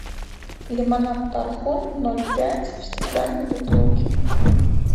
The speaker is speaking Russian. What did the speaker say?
лимонад тархун ноль пять в стеклянной бутылке